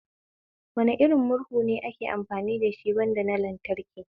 Wane irin murhu ne ake amfani dashi banda na lantraki?